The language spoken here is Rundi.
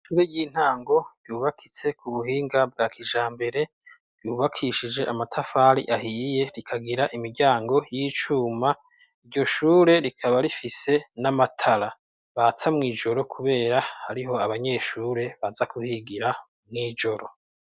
Ishure ry'intango ryubakitse ku buhinga bwa kijambere. Ryubakishije amatafari ahiye, rikagira imiryango y'icuma. Iryo shure rikaba rifise n'amatara batsa mw'ijoro kubera hariho abanyeshure baza kuhigira mw'ijoro.